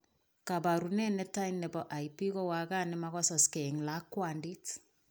Kaparunet netai nebo lp kowakat nemakasaksei eng lakwandit